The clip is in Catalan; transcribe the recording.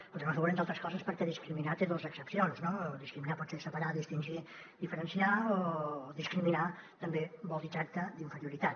el votarem a favor entre altres coses perquè discriminar té dos accepcions no discriminar pot ser separar distingir diferenciar i discriminar també vol dir tracte d’inferioritat